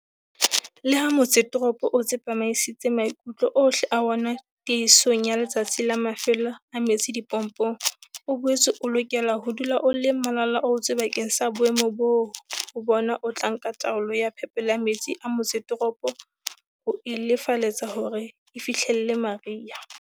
Leha motsetoropo o tsepamisitse maikutlo ohle a wona tiehisong ya Letsatsi la Mafelo a metsi dipompong, o boetse o lokela ho dula o le malala-a-laotswe bakeng sa boemo boo ho bona o tla nka taolo ya phepelo ya metsi a motsetoropo, ho e lelefaletsa hore e fihlelle mariha.